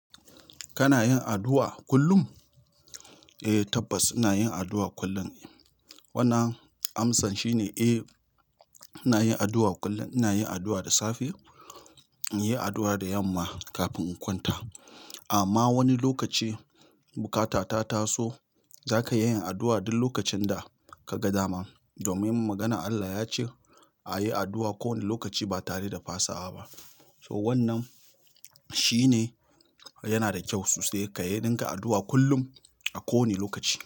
Kana yin addu'a kullum. Ehh tabbas ina yin addu'a kullun. Wannan amsan shine eh, ina yin addu'a kullum. Ina yin addu'a da safe, ina yin addu'a da yama kafin in kwanta. Amma wani lokaci bukata ta taso, zaka iya yin addu'a duk lokacin da ka ga dama. Domin maganar Allah ya ce a yi addu'a ko wani lokaci ba tare da fasawa ba. So wannan shine yana da kyau sosai ka yi ringa addu'a kullum a kowane lokaci.